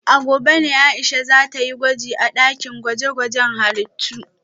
A gobe ne Aisha za ta yi gwaji a dakin gwaje-gwajen halittu